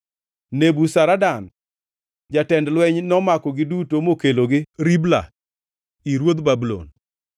Nebuzaradan jatend lweny nomakogi duto mokelogi Ribla ir ruodh Babulon.